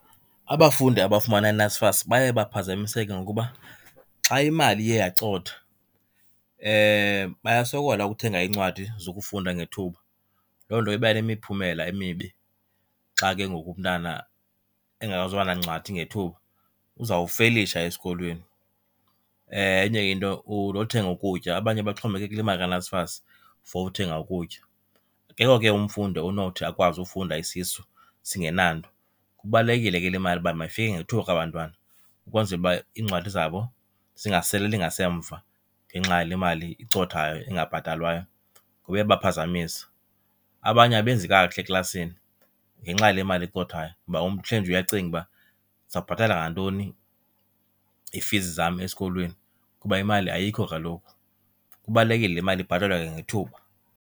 Abafundi abafumana NSFAS baye baphazamiseke ngokuba xa imali iye yacotha bayasokola ukuthenga iincwadi zokufunda ngethuba. Loo nto iba nemiphumela emibi, xa ke ngoku umntana engazuba nancwadi ngethuba uzawufelisha esikolweni. Enye into nothenga ukutya, abanye baxhomekeke kule mali kaNSFAS for uthenga ukutya. Akekho ke umfundi onothi akwazi ufunda isisu singenanto. Kubalulekile ke le mali uba mayifike ngethuba kubantwana ukwenzela uba iincwadi zabo singasaleli ngasemva ngenxa yale mali icothayo ingabhatalwayo, kuba iyabaphazamisa. Abanye abenzi kakuhle eklasini ngenxa yale mali icothayo kuba umntu uhleli nje uyacinga uba ndizawubhatala ngantoni iifizi zam esikolweni kuba imali ayikho kaloku. Kubalulekile le mali ibhatalwe kwangethuba.